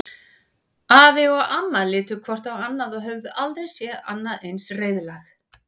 Afi og amma litu hvort á annað og höfðu aldrei séð annað eins reiðlag.